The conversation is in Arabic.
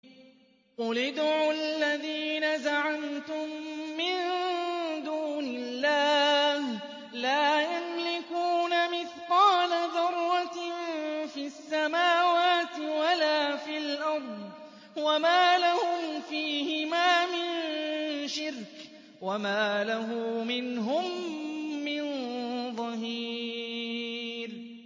قُلِ ادْعُوا الَّذِينَ زَعَمْتُم مِّن دُونِ اللَّهِ ۖ لَا يَمْلِكُونَ مِثْقَالَ ذَرَّةٍ فِي السَّمَاوَاتِ وَلَا فِي الْأَرْضِ وَمَا لَهُمْ فِيهِمَا مِن شِرْكٍ وَمَا لَهُ مِنْهُم مِّن ظَهِيرٍ